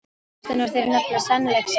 Ástin á þér er nefnilega sannleiksást.